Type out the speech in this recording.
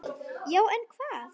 Já en hvað?